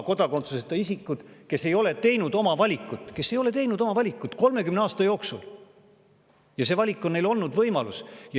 Kodakondsuseta isikutel on olnud võimalus valida, aga nad ei ole 30 aasta jooksul oma valikut teinud.